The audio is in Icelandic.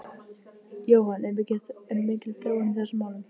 Jóhann, er mikil þróun í þessum málum?